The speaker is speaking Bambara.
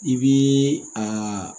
I b'i a